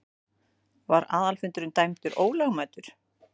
Var aðalfundurinn dæmdur ólögmætur.